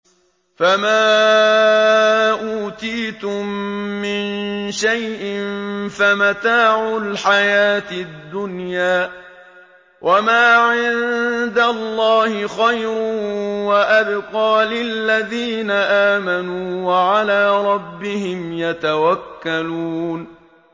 فَمَا أُوتِيتُم مِّن شَيْءٍ فَمَتَاعُ الْحَيَاةِ الدُّنْيَا ۖ وَمَا عِندَ اللَّهِ خَيْرٌ وَأَبْقَىٰ لِلَّذِينَ آمَنُوا وَعَلَىٰ رَبِّهِمْ يَتَوَكَّلُونَ